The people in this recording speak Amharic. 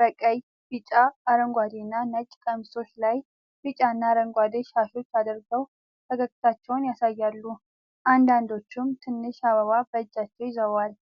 በቀይ፣ ቢጫ፣ አረንጓዴ እና ነጭ ቀሚሶች ላይ ቢጫና አረንጓዴ ሻሾች አድርገው ፈገግታቸውን ያሳያሉ። አንዳንዶቹም ትንሽ አበባ በእጃቸው ይዘዋል።